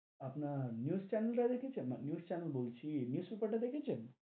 আপনার news channel টা দেখেছেন, news channel বলছি, newspaper টা দেখেছেন?